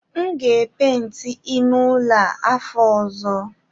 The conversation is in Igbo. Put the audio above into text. M ga epenti ime ụlọ a afọ ọzọ